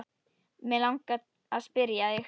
Mig langar að spyrja þig.